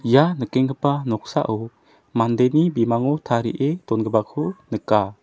ia nikenggipa noksao mandeni bimango tarie dongipako nika.